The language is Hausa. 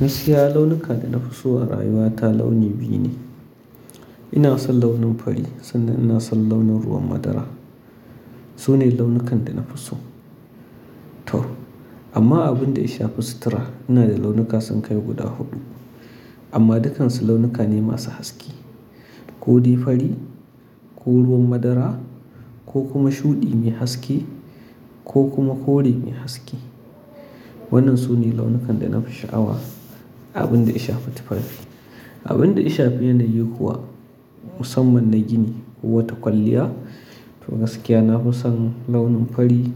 Gasiya launukan da na fi so a rayuwa ta launi biyu ne. Ina son launin fari sannan ina son launin ruwan madara. Su ne launukan da na fi so. To amma abun da ya shafi sutura ina da launuka sun kai guda huɗu amma duk-kansu launuka ne masu haske. Ko dai fari ko ruwan madara ko kuma shuɗi mai haske ko kuma kore mai haske. Wannan su ne launukan da na fi sha'awa. Abun da yashafi tufafi. Abun da yashafi ni kuwa musamman na gini wato kwalliya to gaskiya na fi son launin fari